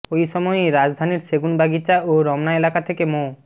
ওই সময়ই রাজধানীর সেগুনবাগিচা ও রমনা এলাকা থেকে মো